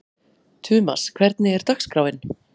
Tumas, hvernig er dagskráin?